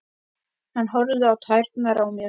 Hann horfir á tærnar á mér.